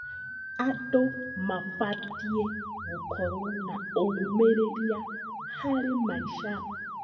Andũ mabatiĩ gũkorwo na ũmĩrĩria harĩ maica.